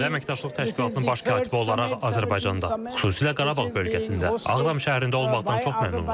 Sağdə Əməkdaşlıq Təşkilatının Baş Katibi olaraq Azərbaycanda, xüsusilə Qarabağ bölgəsində, Ağdam şəhərində olmaqdan çox məmnunum.